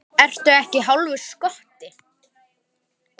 Ertu ekki hálfur skoti?